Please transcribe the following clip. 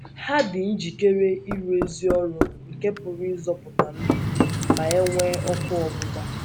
Ha dị njikere ịrụ ezi ọrụ nke pụrụ ịzọpụta ndụ ma e nwee ọkụ ọgbụgba.